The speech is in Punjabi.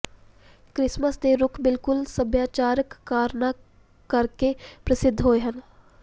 ਕ੍ਰਿਸਮਸ ਦੇ ਰੁੱਖ ਬਿਲਕੁਲ ਸੱਭਿਆਚਾਰਕ ਕਾਰਨਾਂ ਕਰਕੇ ਪ੍ਰਸਿੱਧ ਹੋਏ ਹਨ